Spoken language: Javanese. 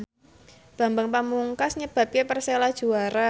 Bambang Pamungkas nyebabke Persela juara